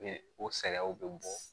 Ni o saliyaw bɛ bɔ